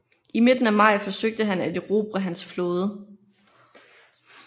I midten af maj forsøgte han at erobre hans flåde